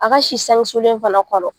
A ka si sanke sulen fana kɔnɔ.